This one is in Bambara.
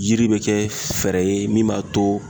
Yiri be kɛ fɛɛrɛ ye min b'a to